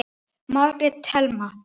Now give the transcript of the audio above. Margrét Thelma.